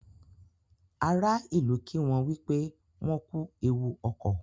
Àrà ilú kí wón wípé wón kú ẹwù okọ.